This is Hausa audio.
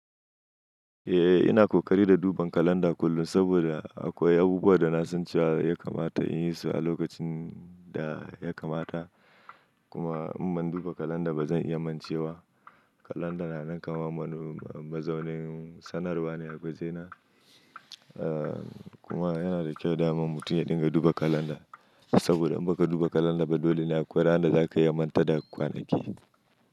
Eh, ina kokari da duban kalanda kullum saboda akwai abubuwan da na san cewa ya kamata in yi su a lokacin da ya kamata. Kuma in ban duba kalanda ba zan iya mancewa. Kalanda na nan kamar wani mazaunin sanarwa ne a wajena kuma yana da kyau dama mutum ya dinga duba kalanda saboda in baka duba kalanda ba, dole ne akwai ran da za ka iya manta da kwanakin.